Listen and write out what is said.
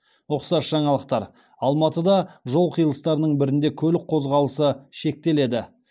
ұқсас жаңалықтар алматыда жол қиылыстарының бірінде көлік қозғалысы шектеледі